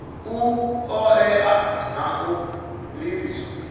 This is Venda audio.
u oea na u livhiswa